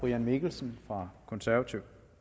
en henvendelse fra eu